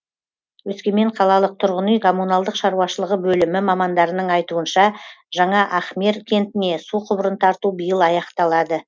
өскемен қалалық тұрғын үй коммуналдық шаруашылығы бөлімі мамандарының айтуынша жаңа ахмер кентіне су құбырын тарту биыл аяқталады